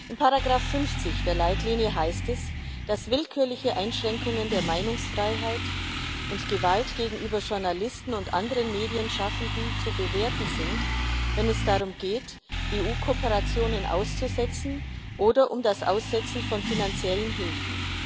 Im Paragraph 50 der Leitlinie heißt es, dass willkürliche Einschränkungen der Meinungsfreiheit und Gewalt gegenüber Journalisten und anderen Medienschaffenden zu bewerten sind, wenn es darum geht, EU Kooperationen auszusetzen, oder um das Aussetzen von finanziellen Hilfen.